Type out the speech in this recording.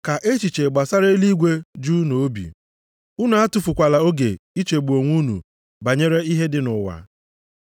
Ka echiche gbasara eluigwe ju unu obi. Unu atụfukwala oge ichegbu onwe unu banyere ihe dị nʼụwa.